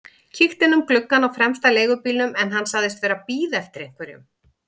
Kíkti inn um gluggann á fremsta leigubílnum en hann sagðist vera að bíða eftir einhverjum.